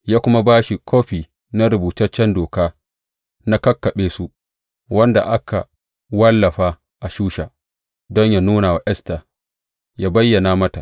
Ya kuma ba shi kofi na rubutaccen doka na kakkaɓe su, wanda aka wallafa a Shusha don yă nuna wa Esta, yă bayyana mata.